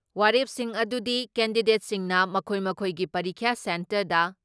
ꯋꯥꯔꯦꯞꯁꯤꯡ ꯑꯗꯨꯗꯤ ꯀꯦꯟꯗꯤꯗꯦꯠꯁꯤꯡꯅ ꯃꯈꯣꯏ ꯃꯈꯣꯏꯒꯤ ꯄꯔꯤꯈ꯭ꯌꯥ ꯁꯦꯟꯇꯔꯗ